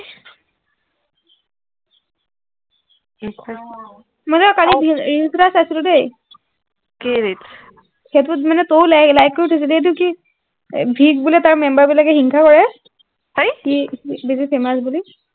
কৃষ্ণ মই কালি reels এটা চাইছিলো দেই কি reels সেইটোত মানে তই like কৰি থৈছ এইটো কি তাৰ member বিলাকে হিংসা কৰে হেই famous বুলি